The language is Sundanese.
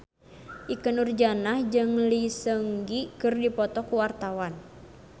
Ikke Nurjanah jeung Lee Seung Gi keur dipoto ku wartawan